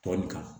Tɔ nin kan